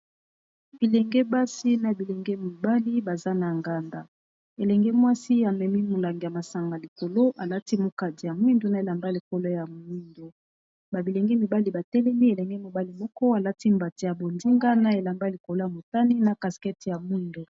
bilenge basi na bilenge mibali baza na nganda elenge mwasi amemi molang ya masanga likolo alati mokadi ya mwindo na elamba likolo ya mwindu babilenge mibali batelemi elenge mobali moko alati mbate ya bondinga na elamba likolo ya motani na caskete ya mwindo